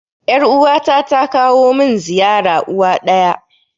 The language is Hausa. Yar uwa ta ta kawo mun ziyara uwa ɗaya